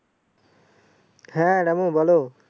হ্যাঁ রামু বলো